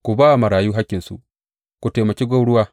Ku ba wa marayu hakkinsu, ku taimaki gwauruwa.